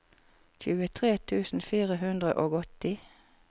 tjuetre tusen fire hundre og åtti